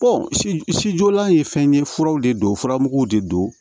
sijɔlan ye fɛn ye furaw de don furamuguw de don